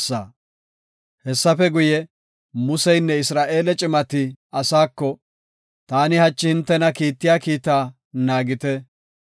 Hessafe guye, Museynne Isra7eele cimati asaako, “Taani hachi hintena kiittiya kiitaa naagite.